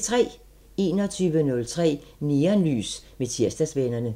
21:03: Neonlys med Tirsdagsvennerne